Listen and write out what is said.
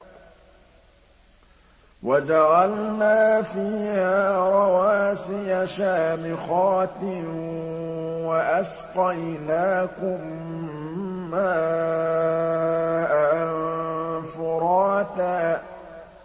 وَجَعَلْنَا فِيهَا رَوَاسِيَ شَامِخَاتٍ وَأَسْقَيْنَاكُم مَّاءً فُرَاتًا